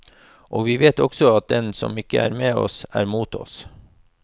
Og vi vet også at den som ikke er med oss, er mot oss.